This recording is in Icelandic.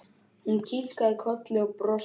Hún kinkaði kolli og brosti.